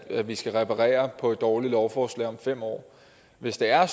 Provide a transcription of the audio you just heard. at vi skal reparere på et dårligt lovforslag om fem år hvis det er